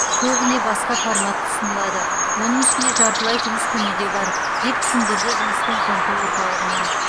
көбіне басқа формат ұсынылады оның ішінде жартылай жұмыс күні де бар деп түсіндірді жұмыспен қамту орталығынан